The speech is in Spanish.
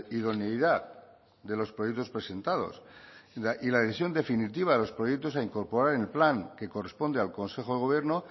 idoneidad de los proyectos presentados y la decisión definitiva de los proyectos a incorporar en el plan que corresponde al consejo de gobierno